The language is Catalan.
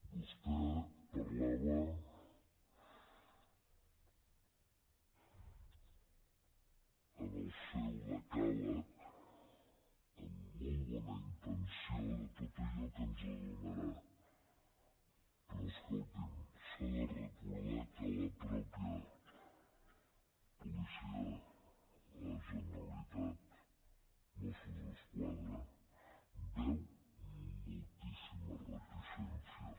vostè parlava en el seu decàleg amb molt bona intenció de tot allò que ens donarà però escolti’m s’ha de recordar que la mateixa policia de la generalitat mossos d’esquadra hi veu moltíssimes reticències